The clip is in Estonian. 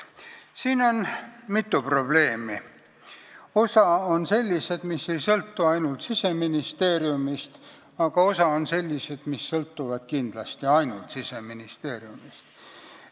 Siin on mitu probleemi, osa on sellised, mis ei sõltu ainult Siseministeeriumist, aga osa on sellised, mis sõltuvad kindlasti ainult Siseministeeriumist.